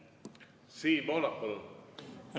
Siim Pohlak, palun!